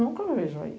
Nunca vejo aí.